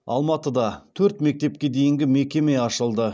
алматыда төрт мектепке дейінгі мекеме ашылды